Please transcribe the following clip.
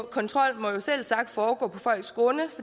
kontrol må selvsagt foregå på folks grunde